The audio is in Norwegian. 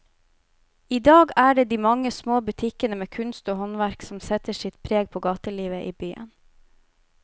I dag er det de mange små butikkene med kunst og håndverk som setter sitt preg på gatelivet i byen.